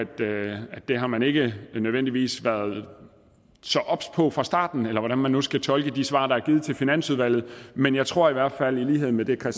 det har man ikke nødvendigvis været så obs på fra starten eller hvordan man nu skal tolke de svar der er givet til finansudvalget men jeg tror i hvert fald i lighed med det